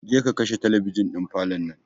Je ka kashe talabijin ɗin falon nan!